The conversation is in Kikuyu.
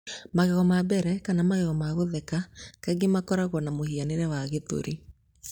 Magego ma mbere, kana magego ma kũgethũka, kaingĩ makoragwo na mũhianĩre wa 'gĩthũri.'